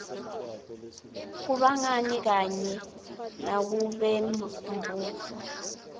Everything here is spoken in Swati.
kubangani kanye nakubembutfo